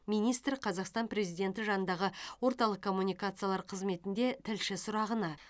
министр қазақстан президенті жанындағы орталық коммуникациялар қызметінде тілші сұрағына